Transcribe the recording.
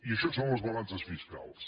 i això són les balances fiscals